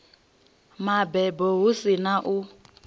mabebo hu si na u